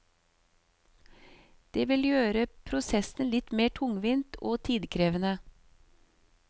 Det vil gjøre prosessen litt mer tungvint og tidkrevende.